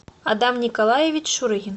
адам николаевич шурыгин